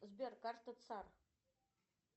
сбер карта цар